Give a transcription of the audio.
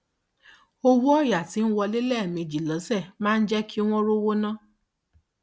owó ọyà tí ń wọlé lẹẹmejì lọsẹ máa ń jẹ kí wọn rówó ná